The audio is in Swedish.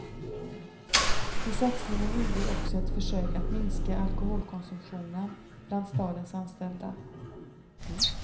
I satsningen ingår också ett försök att minska alkoholkonsumtionen bland stadens anställda.